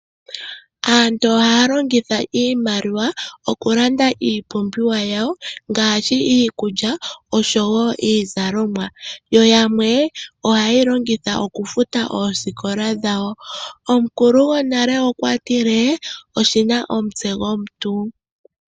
Aantu ohaya longitha iimaliwa oku landa iipumbiwa yawo, ngaashi iikulya, oshowo iizalomwa. Yo yamwe ohaye yi longitha okufuta oosikola dhawo. Omukulu gonale okwa tile oshina omutse gomuntu.